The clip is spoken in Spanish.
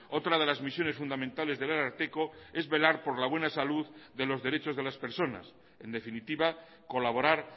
otra de las misiones fundamentales del ararteko es velar por la buena salud de los derechos de las personas en definitiva colaborar